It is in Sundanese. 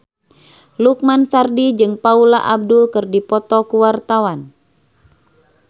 Lukman Sardi jeung Paula Abdul keur dipoto ku wartawan